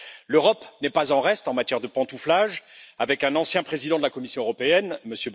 L'Europe n'est pas en reste en matière de pantouflage avec un ancien président de la Commission européenne, M.